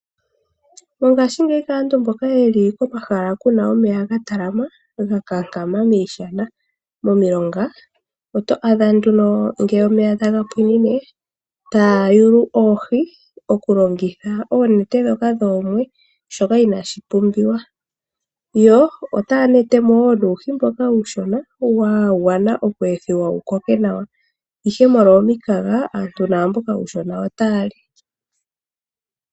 Mongashingeyi kaantu mboka ye li komahala ku na omeya ga talama, ga kankama miishana, momilonga oto adha nduno ngele omeya taga pwinine taya yulu oohi okulongitha oonete ndhoka dhoomwe shoka inaashi pumbiwa yo otaya nete mo woo nuuhi mboka uushona wa gwana oku ethiwa wu koke nawa ashike molwa omikaga aantu naamboka uushona otaya li.